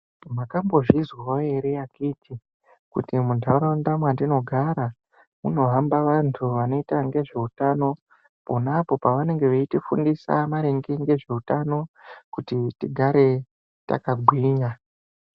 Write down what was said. Mwakambozvinzwawo ere akiti kuti muntaraunda mwatinogara munohamba vantu vanoita nezveutano ponapo pavanenge veitifundisa maringe ngezveutano kuti tigare takagwinya.